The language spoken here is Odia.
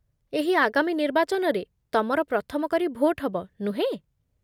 ଏହି ଆଗାମୀ ନିର୍ବାଚନରେ ତମର ପ୍ରଥମ କରି ଭୋଟ୍ ହବ, ନୁହେଁ?